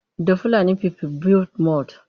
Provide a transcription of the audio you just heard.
The Fulani people built mud.